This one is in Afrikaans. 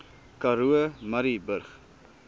karoo murrayburg